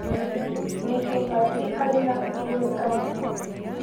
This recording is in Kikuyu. Nĩkĩĩ Batĩ arĩ na igweta mũno?